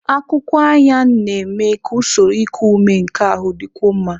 Akwụkwọ Ayan na-eme ka usoro iku ume nke ahụ dịkwuo mma.